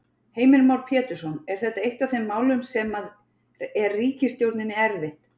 Heimir Már Pétursson: Er þetta eitt af þeim málum sem að er ríkisstjórninni erfitt?